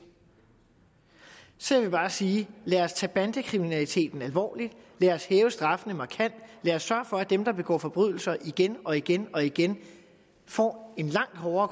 så jeg vil bare sige lad os tage bandekriminaliteten alvorligt lad os hæve straffene markant lad os sørge for at dem der begår forbrydelser igen og igen og igen får en langt hårdere